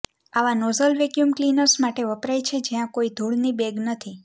આવા nozzle vacuum cleaners માટે વપરાય છે જ્યાં કોઈ ધૂળની બેગ નથી